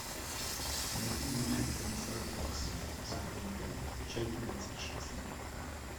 найти мультик комиссар рекс сезон пять часть двадцать шесть